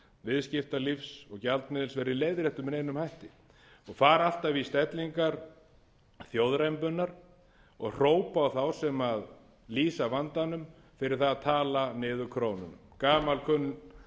viðskiptalífs og gjaldmiðils verði leiðréttur með neinum hætti og fara alltaf í stellingar þjóðrembunnar og hrópa á þá sem lýsa vandanum fyrir það að tala niður krónuna gamalkunnugur söngur